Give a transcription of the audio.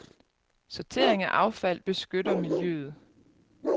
Sortering af affald beskytter miljøet.